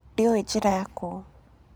Ndĩũĩ njĩra ya kũu.